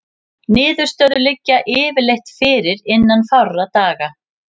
Niðurstöður liggja yfirleitt fyrir innan fárra daga.